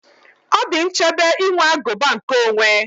Ọ dị nchebe inwe aguba nkeonwe